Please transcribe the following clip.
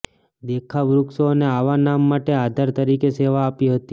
દેખાવ વૃક્ષો અને આવા નામ માટે આધાર તરીકે સેવા આપી હતી